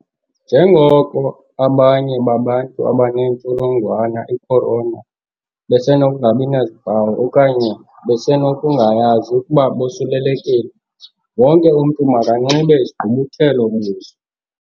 Njengoko abanye babantu abanentsholongwane i-Corona besenokungabi nazimpawu okanye besenokungayazi ukuba bosulelekile, wonke umntu makanxibe isigqubuthelo-buso.